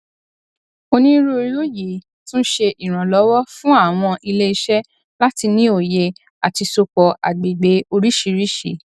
onírúurú yìí tún ṣé ìrànlọwọ fún àwọn iléiṣẹ láti ní òye àti sopọ àgbègbè oríṣiríṣi